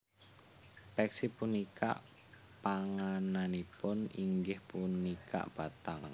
Peksi punika pangananipun inggih punika bathang